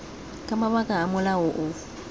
ka mabaka a molao o